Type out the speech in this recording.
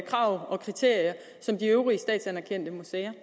krav og kriterier som de øvrige statsanerkendte museer